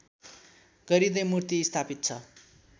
गरिँदै मूर्ति स्‍थापित छ